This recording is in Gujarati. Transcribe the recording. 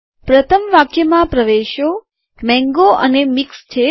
પ્રથમ વાક્યમાં પ્રવેશો મેંગો અને મિક્સ્દ છે